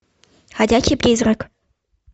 ходячий призрак